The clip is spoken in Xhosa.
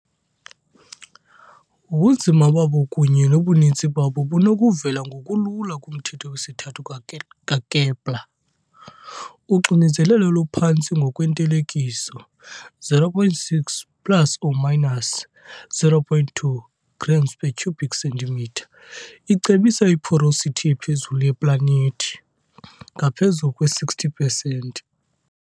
Ubunzima babo kunye nobuninzi babo bunokuvela ngokulula kumthetho wesithathu kaKepler . Uxinzelelo oluphantsi ngokwentelekiso, 0.6 plus or minus 0.2 grams per cubic centimetre icebisa i-porosity ephezulu yeplanethi, ngaphezulu kwe-60 pesenti.